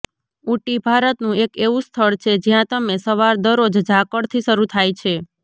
ઉટી ભારતનું એક એવું સ્થળ છે જ્યાં તમે સવાર દરરોજ ઝાકળથી શરૂ થાય છે